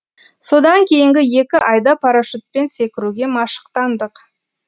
содан кейінгі екі айда парашютпен секіруге машықтандық